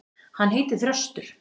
Hann heitir Þröstur.